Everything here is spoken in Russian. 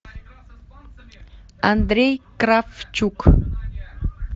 андрей кравчук